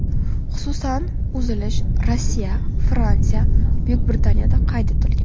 Xususan, uzilish Rossiya, Fransiya, Buyuk Britaniyada qayd etilgan.